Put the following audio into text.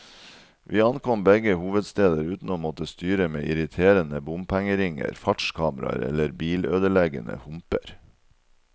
Vi ankom begge hovedsteder uten å måtte styre med irriterende bompengeringer, fartskameraer eller bilødeleggende humper.